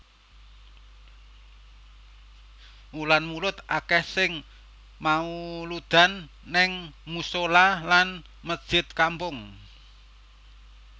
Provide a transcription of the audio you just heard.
Wulan mulud akeh sing mauludan ning musola lan mesjid kampung